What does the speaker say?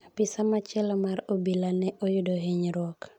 Apisa machielo mar obila ne oyudo hinyruok.